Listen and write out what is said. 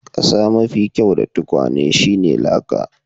Kasa mafi kyau dan tukwane shine laka.